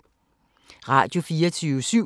Radio24syv